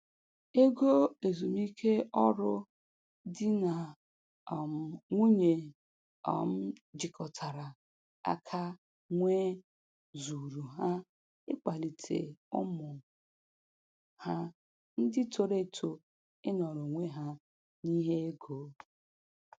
Ego ezumiike ọrụ di na um nwunye um jikọtara aka nwee zuuru ha ịkwalite ụmụ ha ndị toro eto ịnọrọ onwe ha n'ihe ego.